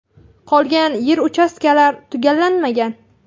Qolgan yer-uchastkalar tugallanmagan.